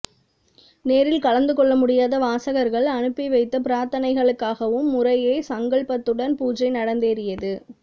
நேரில் கலந்து கொள்ளமுடியாத வாசகர்கள் அனுப்பி வைத்த பிரார்த்தனைகளுக்காகவும் முறையே சங்கல்பத்துடன் பூஜை நடந்தேறியது